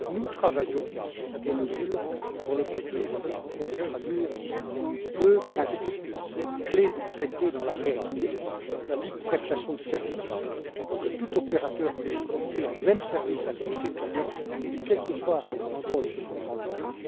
Nous travaillons à des mesures dont l'objectif est de traduire deux principes clés du traité dans la réalité la libre prestation de services, pour que tout opérateur puisse offrir les mêmes services à tous ses clients, quel que ce soit l'endroit où ils se trouvent dans l'Union.